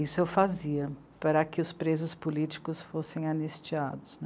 Isso eu fazia para que os presos políticos fossem anistiados.